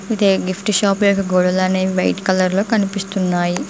ఇదే gift shop యొక్క గోడలు అనేవి వైట్ కలర్ లో కనిపిస్తున్నాయి.